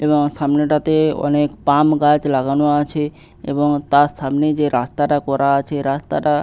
এবং সামনে টাতে- এ অনেক পাম গাছ লাগানো আছে এবং তার সামনেই যে রাস্তাটা করা আছে রাস্তাটা--